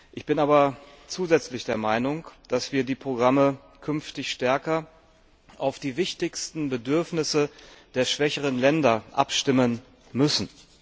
Ich bin aber zusätzlich der Meinung, dass wir die Programme künftig stärker auf die wichtigsten Bedürfnisse der schwächeren Länder abstimmen müssen.